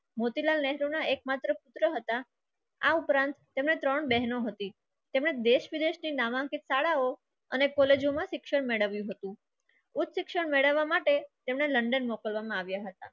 મોતીલાલ નેહરુ ના એકમાત્ર પુત્ર હતા આ ઉપરાંત તેમણે ત્રણ બહેનો હતી તેમજ દેશ વિદેશ થી નાવા કે શાળાઓ અને college માં શિક્ષણ મેળવ્યું હતું ઉચ્ચ શિક્ષણ મેળવવા માટે તેમણે london મોકલવામાં આવ્યો હતો.